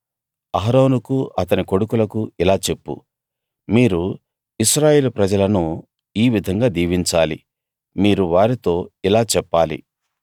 అహరోనుకూ అతని కొడుకులకూ ఇలా చెప్పు మీరు ఇశ్రాయేలు ప్రజలను ఈ విధంగా దీవించాలి మీరు వారితో ఇలా చెప్పాలి